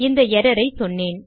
இந்த எர்ரர் ஐ சொன்னேன்